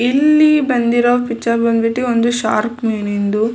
ಇಲ್ಲಿ ಬಂದಿರೋ ಪಿಕ್ಚರ್ ಬಂದ್ಬಿಟ್ಟು ಒಂದು ಶಾರ್ಕ್ ಮೀನಿಂದು --